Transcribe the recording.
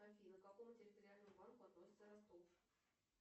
афина к какому территориальному банку относится ростов